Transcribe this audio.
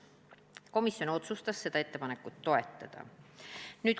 Komisjon otsustas seda ettepanekut toetada.